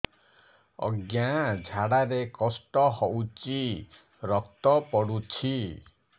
ଅଜ୍ଞା ଝାଡା ରେ କଷ୍ଟ ହଉଚି ରକ୍ତ ପଡୁଛି